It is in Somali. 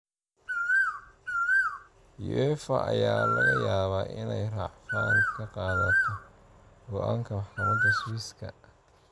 Uefa ayaa laga yaabaa inay racfaan ka qaadato go'aanka maxkamada Swisska.